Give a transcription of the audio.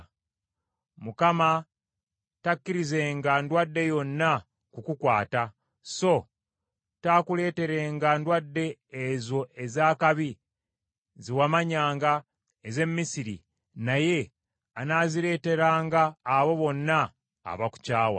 Mukama takkirizenga ndwadde yonna kukukwata. So taakuleeterenga ndwadde ezo ez’akabi, ze wamanyanga, ez’e Misiri, naye anaazireeteranga abo bonna abakukyawa.